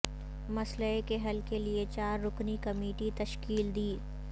مسئلہ کے حل کے لیے چار رکنی کمیٹی تشکیل دی